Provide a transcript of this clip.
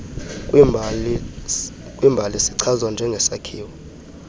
kwiimbali sichazwa njengesakhiwo